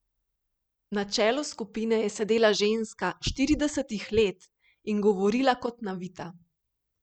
Na čelu skupine je sedela ženska štiridesetih let in govorila kot navita.